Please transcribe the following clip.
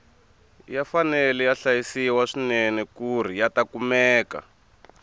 ya fanele ya hlayisiwa swinene kuri yata kumeka